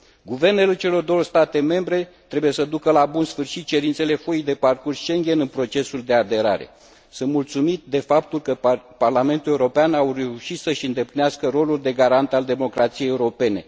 Guvernele celor două state membre trebuie să ducă la bun sfârșit cerințele foii de parcurs Schengen în procesul de aderare. Sunt mulțumit de faptul că Parlamentul European a reușit să și îndeplinească rolul de garant al democrației europene.